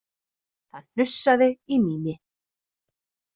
Það hnussaði í Mími.